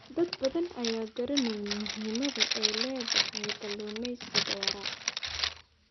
Dad badan ayaan garaneyn muhiimada ay leedahay kalluumeysiga waara.